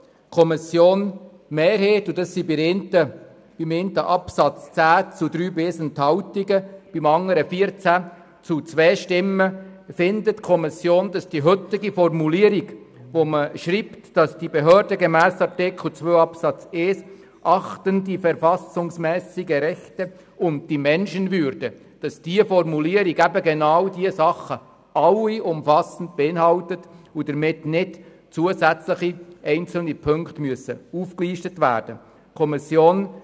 Die Kommissionsmehrheit findet beim einen Absatz mit 10 zu 3 Stimmen bei 1 Enthaltung, beim anderen mit 14 zu 2 Stimmen, dass die heutige Formulierung, wonach die Behörden gemäss Artikel 2 Absatz 1 «die verfassungsmässigen Rechte und die Menschenwürde» achten, genau alle diese Punkte umfassend beinhaltet und dass somit keine zusätzlichen Punkte aufgelistet werden müssen.